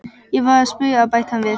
Ég var að spauga, bætti hann við.